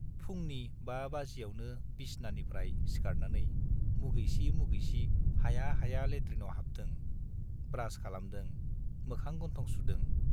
फुंनि बा बाजियावनो बिसनानिफ्राय सिखारनानै मुगैसि मुगैसि हाया हाया लेट्रिनाव हाबदों, ब्रास खालामदों, मोखां-गन्थं सुदों।